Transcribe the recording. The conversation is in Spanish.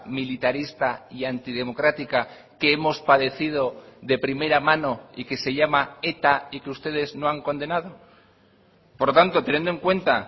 militarista y antidemocrática que hemos padecido de primera mano y que se llama eta y que ustedes no han condenado por lo tanto teniendo en cuenta